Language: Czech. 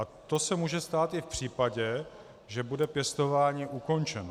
A to se může stát i v případě, že bude pěstování ukončeno.